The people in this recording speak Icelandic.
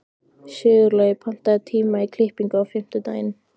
Sigurlogi, pantaðu tíma í klippingu á fimmtudaginn.